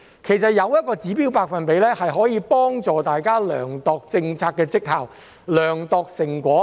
其實，設定指標百分比，可以幫助大家量度政策績效、成果。